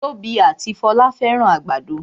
Tobi ati Folá fẹ́ràn àgbàdo